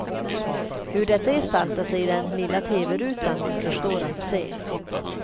Hur detta gestaltar sig i den lilla teverutan återstår att se.